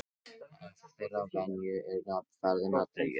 Af þeirri venju er nafn ferðanna dregið.